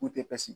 U tɛ psi